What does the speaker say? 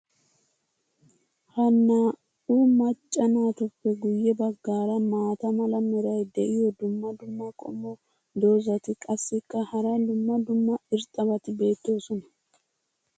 Ha naa'u macca naatuppe guye bagaara maata mala meray diyo dumma dumma qommo dozzati qassikka hara dumma dumma irxxabati doosona.